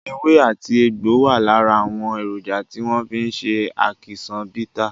Ewé àti egbò wà lára àwọn èròjà tí wọ́n fi ṣe ákíṣán bità.